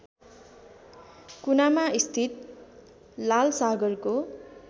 कुनामा स्थित लालसागरको